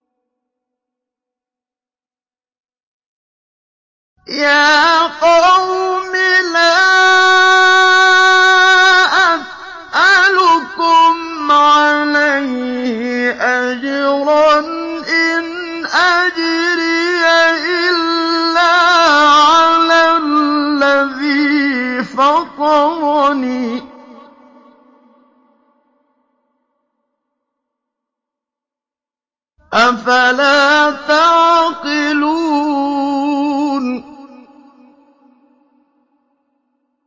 يَا قَوْمِ لَا أَسْأَلُكُمْ عَلَيْهِ أَجْرًا ۖ إِنْ أَجْرِيَ إِلَّا عَلَى الَّذِي فَطَرَنِي ۚ أَفَلَا تَعْقِلُونَ